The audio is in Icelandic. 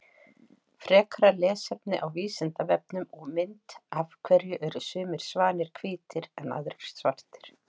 Frekara lesefni á Vísindavefnum og mynd Af hverju eru sumir svanir hvítir en aðrir svartir?